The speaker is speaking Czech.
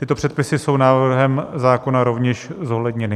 Tyto předpisy jsou návrhem zákona rovněž zohledněny.